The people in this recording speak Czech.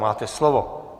Máte slovo.